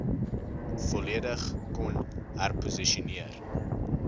volledig kon herposisioneer